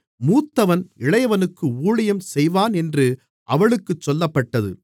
மூத்தவன் இளையவனுக்கு ஊழியம் செய்வான் என்று அவளுக்கு சொல்லப்பட்டது